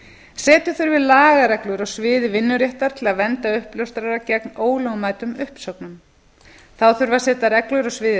setja þurfi lagareglur á sviði vinnuréttar til að vernda uppljóstrara gegn ólögmætum uppsögnum þá þurfi að setja reglur á sviði